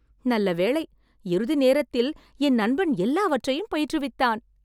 நல்ல வேளை இறுதி நேரத்தில் என் நண்பன் எல்லாவற்றையும் பயிற்றுவித்தான்.